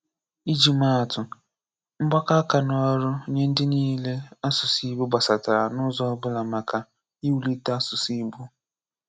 Ìjì màá àtụ́, mgbàkọ̀ àkà n’ọ̀rụ́ nye ndị niile asụ̀sụ́ Ìgbò gbasàtàrà n’ụ́zọ̀ ọ̀bụ̀la maka iwúlitè asụ̀sụ́ Ìgbò.